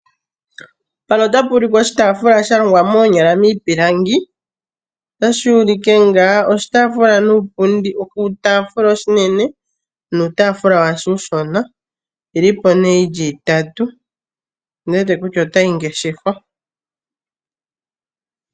Mpano otapu ulike oshitafula shalongwa moonyala miipilangi , otashi ulike nga oshitafula nuupundi , oshitafula oshinene nuupundi washo uushina ,oyi lipo ne yili itatu , nondi wete kutya otayi ngeshefwa.